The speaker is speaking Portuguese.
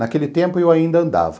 Naquele tempo eu ainda andava.